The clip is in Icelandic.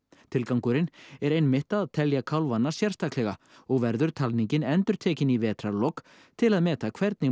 tilgangurinn er einmitt að telja kálfana sérstaklega og verður talningin endurtekin í vetrarlok til að meta hvernig